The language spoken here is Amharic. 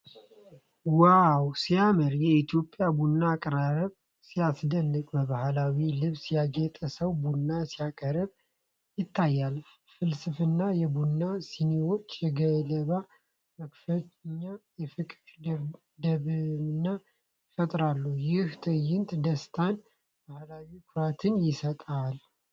ዋው ሲያምር! የኢትዮጵያ ቡና አቀራረብ! ሲያስደንቅ! በባህላዊ ልብስ ያጌጠ ሰው ቡና ሲያቀርብ ይታያል። ጥልፍልፍ የቡና ሲኒዎችና የገለባ መከፈኛ የፍቅር ድባብን ይፈጥራሉ። ይህ ትዕይንት ደስታንና ባህላዊ ኩራት ይሰጣል!